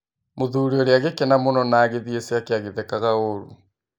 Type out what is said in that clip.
Mũthuri ũrĩa agĩkena mũno na agĩthie ciake agĩthekaga ũru.